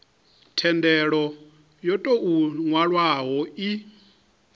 thendelo yo tou nwalwaho i